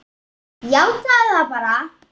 Játaðu það bara!